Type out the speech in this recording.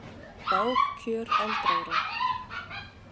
Bág kjör aldraðra